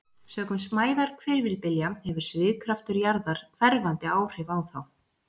Sökum smæðar hvirfilbylja hefur svigkraftur jarðar hverfandi áhrif á þá.